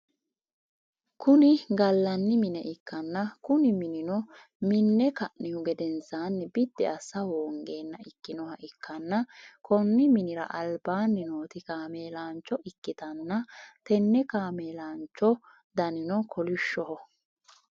Kuni gallani mine ikkanna Kuni minino minne kanihu gedensaani biddi assa hoongeenna ikkinoha ikkanna Konni minnira albaanni nooti kaameelaancho ikkitanna tenne kaameelaancho danino kolishsho